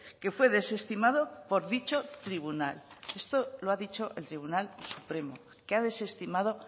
que fue desestimado por dicho tribunal esto lo ha dicho el tribunal supremo que ha desestimado